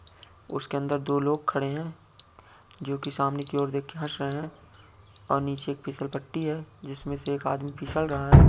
उसके अंदर दो लोग खड़े हैं जोकि सामने की ओर देख के हंस रहे हैं और नीचे एक फिसल पट्टी है जिसमें से एक आदमी फिसल रहा है।